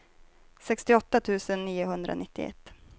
sextioåtta tusen niohundranittioett